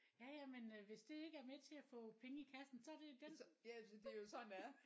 Ja ja men øh hvis det ikke er med til at få penge i kassen så det den puf